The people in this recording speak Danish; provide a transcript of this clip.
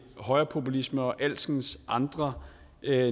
højrepopulisme og alskens andre